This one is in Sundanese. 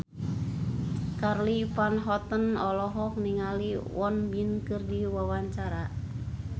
Charly Van Houten olohok ningali Won Bin keur diwawancara